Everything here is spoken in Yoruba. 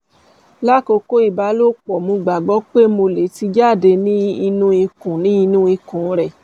lakoko ibalopo mo gbagbọ pe mo le ti jade ninu inu ikun ninu inu ikun rẹ